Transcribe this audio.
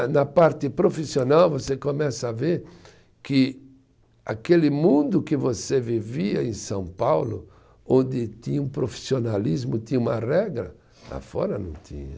Na parte profissional você começa a ver que aquele mundo que você vivia em São Paulo, onde tinha um profissionalismo, tinha uma regra, lá fora não tinha.